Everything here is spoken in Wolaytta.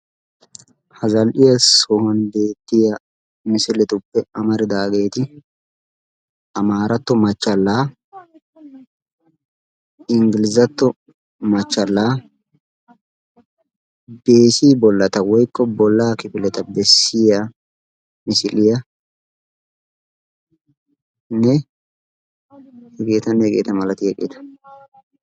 Ha zall'iya sohuwan beettiya misiletuppe amaridaageeti amaaratto machchallaa inggilizatto machchallaa bessi bollata woykko bollaa kifileta bessiya misiliyanne hegeetanne hegeeta malatiyageeta.